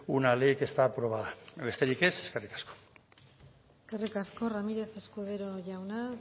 una ley que está aprobada besterik ez eskerrik asko eskerrik asko ramírez escudero jauna